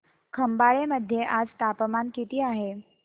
खंबाळे मध्ये आज तापमान किती आहे